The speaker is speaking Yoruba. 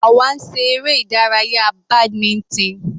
Àwa ń ṣe eré ìdárayá badminton.